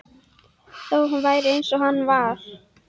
Þó hann væri eins og hann var.